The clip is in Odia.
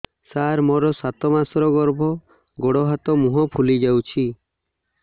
ସାର ମୋର ସାତ ମାସର ଗର୍ଭ ଗୋଡ଼ ହାତ ମୁହଁ ଫୁଲି ଯାଉଛି